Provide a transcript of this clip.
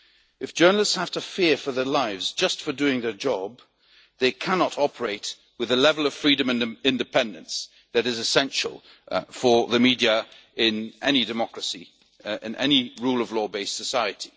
If journalists have to fear for their lives just for doing their job, they cannot operate with a level of freedom and independence that is essential for the media in any democracy, in any rule of law based society.